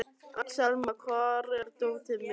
Axelma, hvar er dótið mitt?